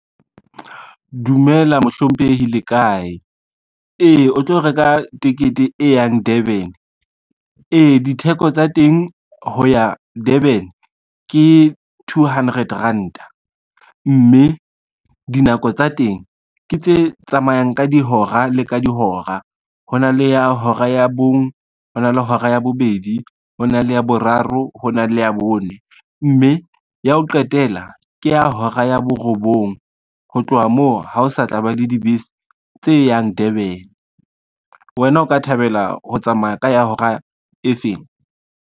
Dumela mohlomphehi le kae, ee o tlo reka tekete e yang Durban. Ee ditheko tsa teng ho ya Durban ke two hundred ranta, mme dinako tsa teng ke tse tsamayang ka dihora le ka dihora. Ho na le ya hora ya bong, ho na le hora ya bobedi, ho na le ya boraro, ho na le ya bone, mme ya ho qetela ke ya hora ya borobong. Ho tloha moo ha o sa tla ba le dibese tse yang Durban, wena o ka thabela ho tsamaya ka ya hora e feng.